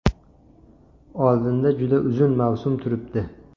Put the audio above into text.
Oldinda juda uzun mavsum turibdi.